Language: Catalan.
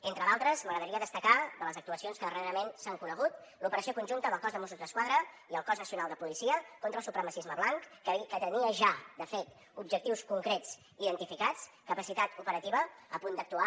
entre d’altres m’agradaria destacar de les actuacions que darrerament s’han conegut l’operació conjunta del cos de mossos d’esquadra i el cos nacional de policia contra el supremacisme blanc que tenia ja de fet objectius concrets identificats capacitat operativa a punt d’actuar